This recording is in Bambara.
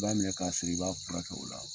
i b'a minɛ k'a siri, i b'a furakɛ kɛ o la.